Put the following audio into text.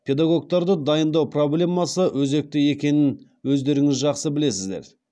педагогтарды дайындау проблемасы өзекті екенін өздеріңіз жақсы білесіздер